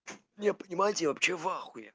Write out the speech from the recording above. не понимаете я вообще в ахуе